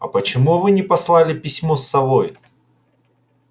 а почему вы не послали письмо с совой